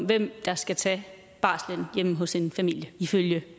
hvem der skal tage barselen hjemme hos en familie ifølge